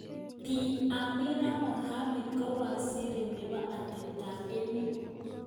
Bi Amina Mohammed kowaziri nebo atebtak emet.